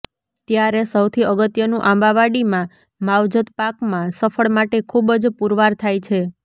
ત્યારે સૌથી અગત્યનું આંબાવાડીમાં માવજત પાકમાં સફળ માટે ખુબ જ પુરવાર થાય છે